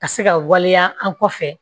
Ka se ka waleya an kɔfɛ